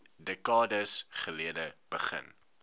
dekades gelede begin